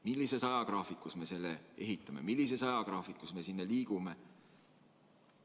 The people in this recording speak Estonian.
Millises ajagraafikus me selle ehitame, millises ajagraafikus me liigume?